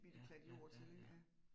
Ja ja ja ja